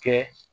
Kɛ